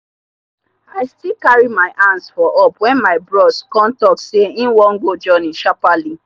i still carry my hands for up wen my bros come talk say him wan go journey sharperly